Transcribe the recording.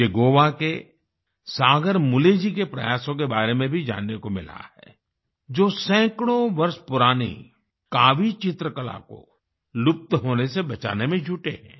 मुझे गोवा के सागर मुले जी के प्रयासों के बारे में भी जानने को मिला है जो सैकड़ों वर्ष पुरानी कावी चित्रकला को लुप्त होने से बचाने में जुटे हैं